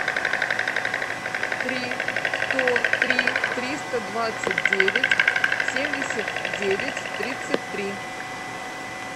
три сто три триста двадцать девять семьдесят девять тридцать три